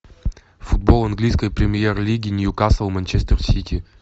футбол английской премьер лиги ньюкасл манчестер сити